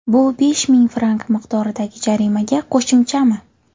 Bu besh ming frank miqdoridagi jarimaga qo‘shimchami?